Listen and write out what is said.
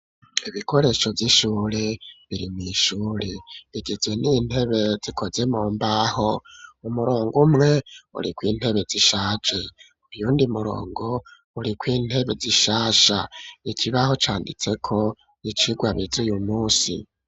Ibikoresho vy'ishure biri mw'ishure bigizwe n'intebe zikoze mu mbaho, umurongo umwe urikw'intebe zishaje, uyundi murongo urikw'intebe zishasha, ikibaho canditseko icigwa bize uyu munsi.